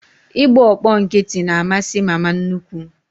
Ị gba ọkpọ nkịtị na amasị mama nnukwu